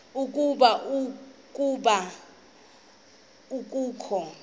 ukubona ukuba akukho